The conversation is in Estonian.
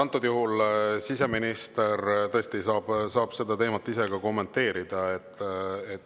Antud juhul siseminister tõesti saab seda teemat ise ka kommenteerida.